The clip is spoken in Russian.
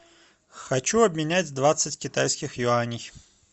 хочу обменять двадцать китайских юаней